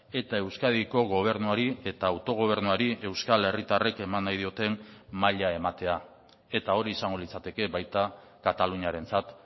eta euskadiko gobernuari eta autogobernuari euskal herritarrek eman nahi dioten maila ematea eta hori izango litzateke baita kataluniarentzat